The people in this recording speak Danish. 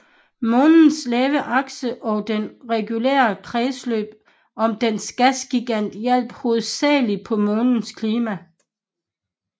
Månens lave akse og dens regulære kredsløb om dens gasgigant hjalp hovedsageligt på månens klima